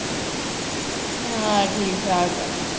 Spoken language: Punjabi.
ਹਾਂ ਠੀਕ ਠਾਕ ਹੈ